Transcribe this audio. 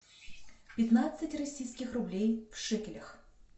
пятнадцать российских рублей в шекелях